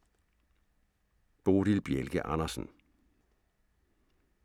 Bodil Bjelke Andersen